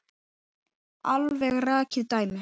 Alveg rakið dæmi.